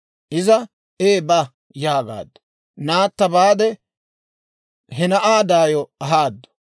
Iza, «Ee, ba» yaagaaddu. Naatta baade, he na'aa daayo ahaaddu.